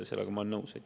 Sellega ma olen nõus.